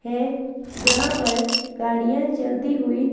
है जहां पर गाड़ियां चलती हुई--